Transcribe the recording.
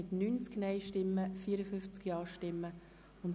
Der Grosse Rat beschliesst: Ablehnung